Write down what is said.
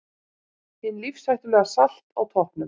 Hin lífshættulega Salt á toppnum